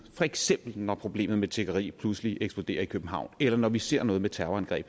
for eksempel når problemet med tiggeri pludselig eksploderer i københavn eller når vi ser noget med terrorangreb